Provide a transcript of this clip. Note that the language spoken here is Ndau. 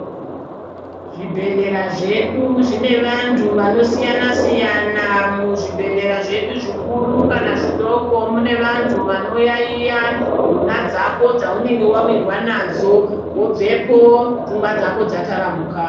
Zvi bhehlera zvedu zvine vantu vano siyana siyana siyana muzvi bhedhlera zvedu zvikuru kana zvidoko mune vantu bano yayiya nduna dzako dzaunenge wawirwa nadzo wobvepo pfungwa dzako dza taramuka.